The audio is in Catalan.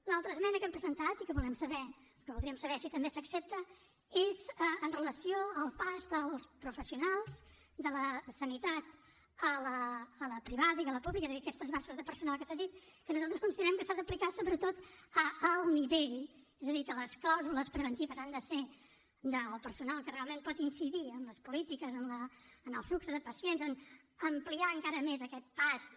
l’altra esmena que hem presentat i que voldríem saber si també s’accepta és amb relació al pas dels professionals de la sanitat a la privada i a la pública és a dir aquests transvasaments de personal que s’ha dit que nosaltres considerem que s’ha d’aplicar sobretot a alt nivell és a dir que les clàusules preventives han de ser del personal que realment pot incidir en les polítiques en el flux de pacients en ampliar encara més aquest pas de